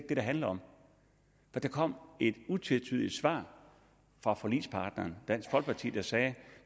det det handler om der kom et utvetydigt svar fra forligspartneren dansk folkeparti der sagde at